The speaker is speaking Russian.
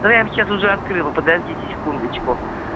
да я сейчас уже открыла подождите секундочку